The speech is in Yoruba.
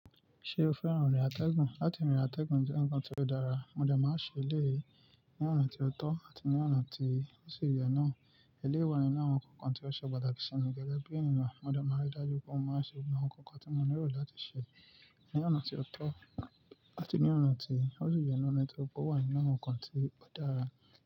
Ṣé o fẹ́ràn irìn àtẹ̀gùn? Láti rìn àtẹ̀gùn jẹ́ ǹkan ti ó dára, mo dẹ máa ń ṣe eléyìí ní ọ̀nà tí ó tọ́ àti ní ọ̀nà tí ó sì yẹ náà. Eléyi wa nínu àwọn ǹkan tí ó ṣe pàtàkì sími gẹ́gẹ́ bí ènìyàn. Mo dẹ máa n rí dájú pé mo máa ń ṣe àwọn ǹkan kan tí mo nílò láti ṣe ní ọ̀nà tí ó tọ́ àti ní ọ̀nà tí ó sì yẹ, ọ̀nà tí mó pe ó wà ninu àwọn ǹkan tí ó dára.